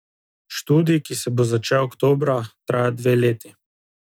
Študij, ki se bo začel oktobra, traja dve leti.